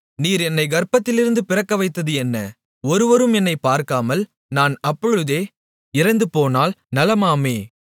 நீர் என்னைக் கர்ப்பத்திலிருந்து பிறக்கவைத்தது என்ன ஒருவரும் என்னைப் பார்க்காமல் நான் அப்பொழுதே இறந்துபோனால் நலமாமே